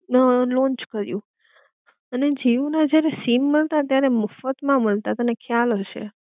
અ launch કર્યું અને જીઓ ના જ્યારે સીમ મળતા ત્યારે મફત માં મળતા તને ખ્યાલ હશે